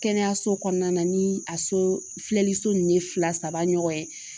Kɛnɛyaso kɔnɔna na ni a so filɛliso ninnu ye fila saba ɲɔgɔn ye